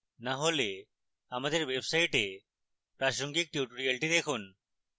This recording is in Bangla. না হলে আমাদের website প্রাসঙ্গিক tutorials দেখুন